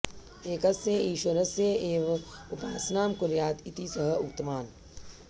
एकस्य ईश्वरस्य एव उपासनां कुर्यात् इति सः उक्तवान्